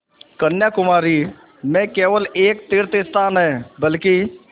कन्याकुमारी में केवल एक तीर्थस्थान है बल्कि